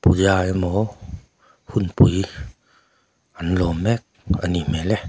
puja emaw hunpui an lâwm mêk a nih hmêl e.